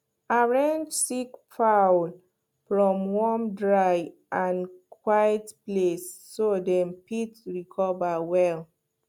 arrange sick fowl for warm dry and quiet place so dem fit recover well